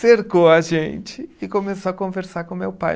cercou a gente e começou a conversar com meu pai.